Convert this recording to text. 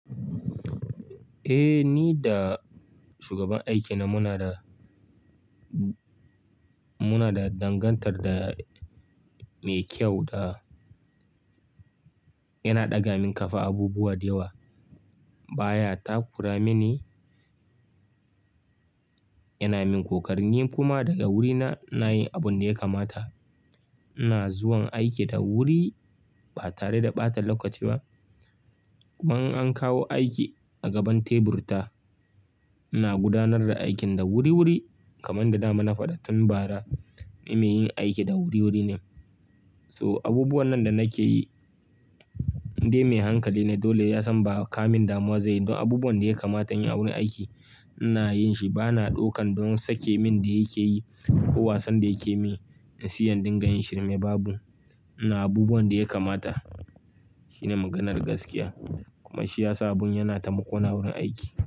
Ni da shugaban aiki na muna da, muna da dangantaka mai kyau da yana ɗaga min kafa abubuwa da yawa. Baya takura mini, yana min kokari, ni kuma daga wurina ina yin abun da ya kamata. Ina zuwa aiki da wuri ba tare da ɓata lokaci ba. Kuma in an kawo aiki a gaban tebur ta, ina gudanar da aikin da wuri wuri kamar da dama na faɗa tun bara. Ni mai yin aiki da wuri wuri ne. So abubuwan nan da nake yi dai mai hankali ne. Dole ya san ba kamin damuwa zai yi. Don abubuwan da ya kamata in yi a wurin aiki ina yin shi. Ba na ɗaukan don sake min da yake yi ko wasan da yake yi. Sai in ɗinga yin shi mai babu. Ina abubuwan da ya kamata shine maganar gaskiya. Kuma shi yasa abun yana taimakona wurin aiki.